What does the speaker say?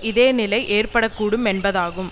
இதே நிலை ஏற்பட கூடும் என்பதாகும்